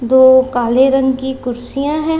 दो काले रंग की कुर्सियां हैं।